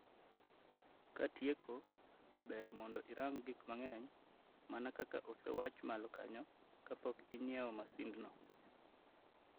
Katieko, ber mondo irang gik mageny, mana kaka osewach malo kanyo, kapok ing'iewo masind no.